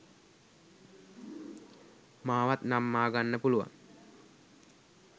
මාවත් නම්මාගන්න පුළුවන්